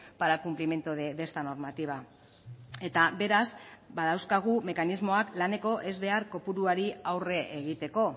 para el cumplimiento de esta normativa eta beraz badauzkagu mekanismoak laneko ezbehar kopuruari aurre egiteko